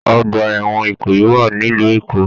Ọgbà ẹwọn Ìkòyí wà nílu Èkó.